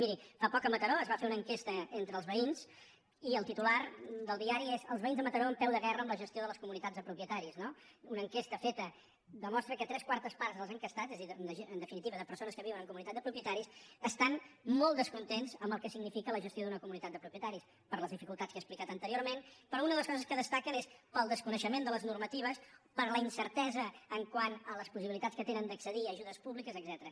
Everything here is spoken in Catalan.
miri fa poc a mataró es va fer una enquesta entre els veïns i el titular del diari és els veïns de mataró en peu de guerra amb la gestió de les comunitats de propietaris no una enquesta feta que demostra que tres quartes parts dels enquestats és a dir en definitiva de persones que viuen en comunitat de propietaris estan molt descontents amb el que significa la gestió d’una comunitat de propietaris per les dificultats que he explicat anteriorment però una de les coses que destaquen és pel desconeixement de les normatives per la incertesa quant a les possibilitats que tenen d’accedir a ajudes públiques etcètera